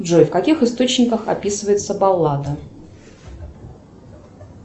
джой в каких источниках описывается баллада